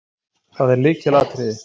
Það er lykilatriði.